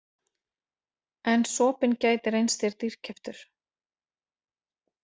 En sopinn gæti reynst þér dýrkeyptur